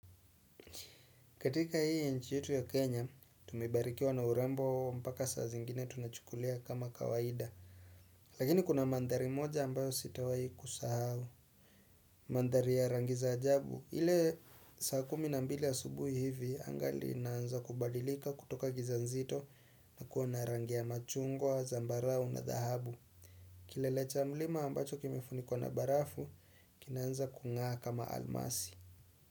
Katika hii nchi yetu ya Kenya, tumebarikiwa na urembo mpaka saa zingine tunachukulia kama kawaida. Lakini kuna mandhari moja ambayo sitawahi kusahau. Mandhari ya rangi za ajabu, ile saa kumi na mbili ya asubuhi hivi, angali inaanza kubadilika kutoka giza nzito na kuwa na rangi ya machungwa, zambarau na dhahabu. Kilele cha mlima ambacho kimefunikwa na barafu, kinaanza kung'aa kama almasi.